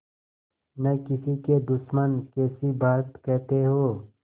न किसी के दुश्मन कैसी बात कहते हो